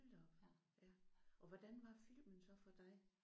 Hold da op. Ja og hvordan var filmen så for dig?